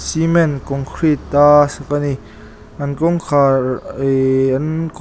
cement concrete a sak ani an kawngkhar ihh an kawt--